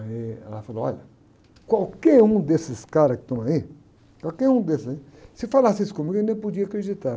Aí ela falou, olha, qualquer um desses caras que estão aí, qualquer um desses aí, se falasse isso comigo, eu nem podia acreditar.